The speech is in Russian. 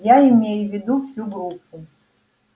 я имею в виду всю группу